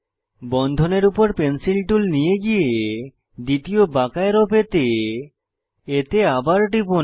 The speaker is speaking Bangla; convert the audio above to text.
বন্ধনের উপর পেন্সিল টুল নিয়ে গিয়ে দ্বিতীয় বাঁকা অ্যারো পেতে এতে আবার টিপুন